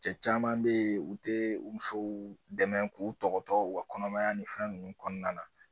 Cɛ caman bɛ ye u tɛ u musow dɛmɛ k'u tɔgɔtɔ u kɔnɔmaya ni fɛn ninnu kɔnɔna na.